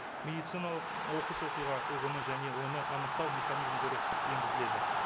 медициналық оқыс оқиға ұғымы және оны анықтау механизмдері енгізіледі